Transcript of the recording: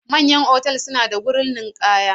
Manyan otal suna da wurin ninkaya.